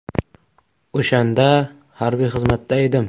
O‘shanda harbiy xizmatda edim.